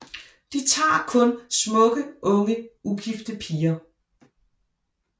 De tager kun smukke unge ugifte piger